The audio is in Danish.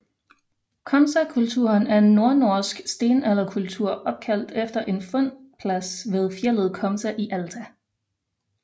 Komsakulturen er en nordnorsk stenalderkultur opkaldt efter en fundplads ved fjeldet Komsa i Alta